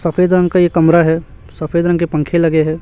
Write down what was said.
सफेद रंग का ये कमरा है सफेद रंग के पंख लगे हैं।